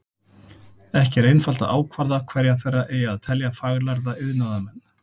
Ekki er einfalt að ákvarða hverja þeirra eigi að telja faglærða iðnaðarmenn.